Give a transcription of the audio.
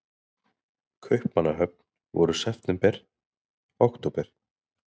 Kaupmannahöfn voru september, október.